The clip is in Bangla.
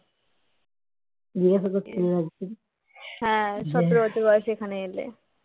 সতেরো বছর বয়সে এখানে এলে